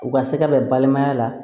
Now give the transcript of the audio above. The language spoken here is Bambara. U ka se ka bɛn balimaya la